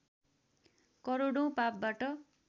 करोडौँ पापबाट